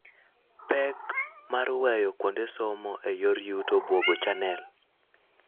Pek mar weyo kuonde somo e yor yuto obwogo channel.